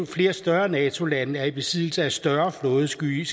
flere større nato lande er i besiddelse af større flådeskibe